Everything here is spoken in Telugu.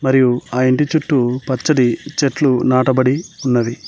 మరియు ఆ ఇంటి చుట్టూ పచ్చని చెట్లు నాటబడి ఉన్నవి.